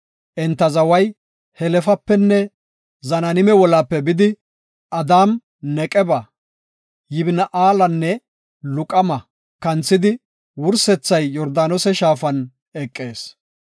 Enta zaway Helefapenne Zananime wolaape bidi, Adaam-Neqeba, Yabni7eelanne Laquma kanthidi, wursethay Yordaanose shaafan eqees.